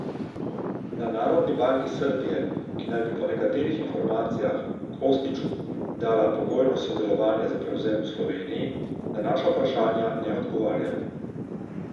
Na Narodni banki Srbije, ki naj bi po nekaterih informacijah Kostiću dala pogojno soglasje za prevzem v Sloveniji, na naša vprašanja ne odgovarjajo.